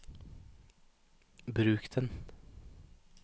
bruk den